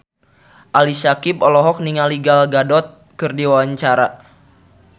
Ali Syakieb olohok ningali Gal Gadot keur diwawancara